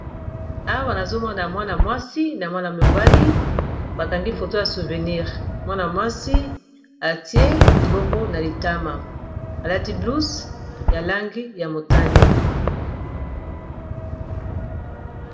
Awa nazomona mwana mwasi na mwana mobali bakangi foto ya souvenir mwana-mwasi atiye liboko na litama alati blouze ya langi ya motene